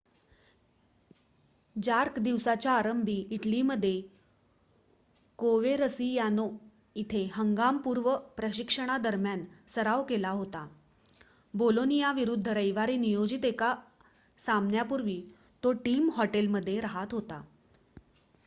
jerk दिवसाच्या आरंभी इटलीमध्ये कोवेरसियानो इथे हंगाम-पूर्व प्रशिक्षणादरम्यान सराव करत होता बोलोनियाविरुद्ध रविवारी नियोजित एका सामन्यापूर्वी तो टीम हॉटेलमध्ये राहात होता